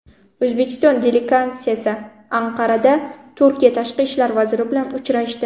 O‘zbekiston delegatsiyasi Anqarada Turkiya Tashqi ishlar vaziri bilan uchrashdi.